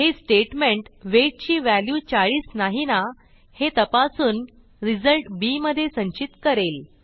हे statement weight ची value 40 नाही ना हे तपासून रिझल्ट बी मधे संचित करेल